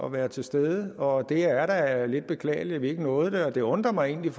at være til stede og det er da lidt beklageligt at vi ikke nåede det og det undrer mig egentlig